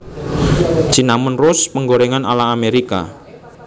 Cinnamon Roast penggorèngan ala Amerika